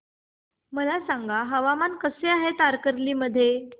मला सांगा हवामान कसे आहे तारकर्ली मध्ये